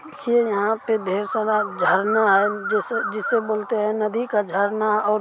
ये यहाँ पे ढेर सारा झरना है जैसे- जिसे बोलते है नदी का झरना और--